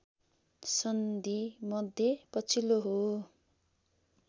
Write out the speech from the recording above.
सन्धिमध्ये पछिल्लो हो